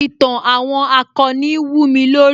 Ìtàn àwọn akọni wúmi lórí